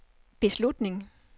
beslutning